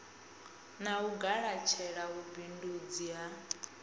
na u galatshela vhubindundzi ha